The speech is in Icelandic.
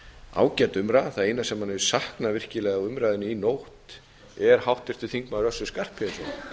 ágæt umræða það eina sem maður hefur saknað virkilega úr umræðunni í nótt er háttvirtur þingmaður össur skarphéðinsson